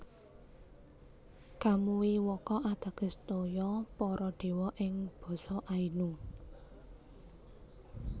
Kamui wakka ateges toya para dewa ing basa Ainu